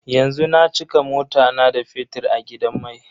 Yanzu na cika mota na da fetir a gidan mai.